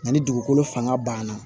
Nka ni dugukolo fanga banna